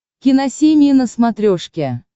киносемья на смотрешке